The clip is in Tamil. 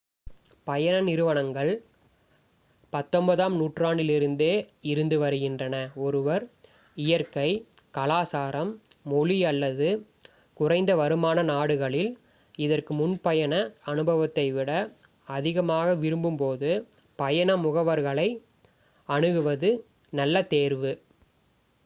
பயண நிறுவனங்கள் 19 ம் நூற்றாண்டிலிருந்தே இருந்து வருகின்றன ஒருவர் இயற்கை கலாசாரம் மொழி அல்லது குறைந்த வருமான நாடுகளில் இதற்கு முன் பயண அனுபவத்தை விட அதிகமாக விரும்பும் போது பயண முகவர்களை அணுகுவது நல்ல தேர்வு